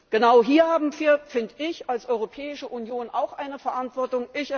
Genau hier haben wir als Europäische Union auch eine Verantwortung.